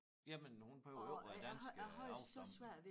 Jamen hun behøver jo ikke være dansk øh afstamning